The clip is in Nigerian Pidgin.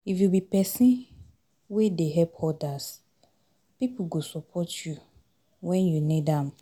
If you be pesin wey dey help odas, pipo go support you wen you need am